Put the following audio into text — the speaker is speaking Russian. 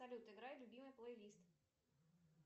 салют играй любимый плейлист